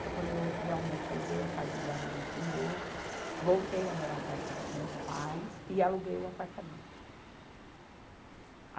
Foi quando eu realmente aluguei a casa em Guarulhos de novo, voltei a morar perto dos meus pais e aluguei o apartamento.